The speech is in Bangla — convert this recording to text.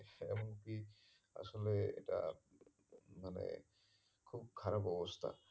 এমনকি আসলে এটা আহ মানে খুব খারাপ অবস্থা